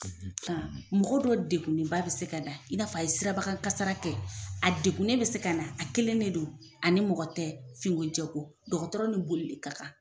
Aa mɔgɔ dɔ degunenba be se ka na in'a fɔ a ye sirabakan kasara kɛ a degunen ne be se ka na a kelen ne don ani mɔgɔ tɛ finko jɛko dɔgɔtɔrɔ ni boli le ka kan